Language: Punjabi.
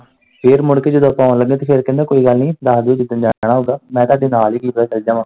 ਫਿਰ ਜਦੋਂ ਮੁੜ ਕੇ ਜਦੋਂ ਆਪਾਂ ਆਉਣ ਲੱਗੇ ਤੇ ਫਿਰ ਕਹਿੰਦਾ ਕੋਈ ਗੱਲ ਨੀ ਦਸ ਦਿਓ ਜਿਦਨ ਜਾਣਾ ਹੋਊਗਾ, ਮੈਂ ਤੁਹਾਡੇ ਨਾਲ ਕੀ ਪਤਾ ਚੱਲਜਾਗਾ।